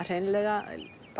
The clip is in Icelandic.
hreinlega